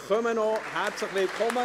Herzlich willkommen!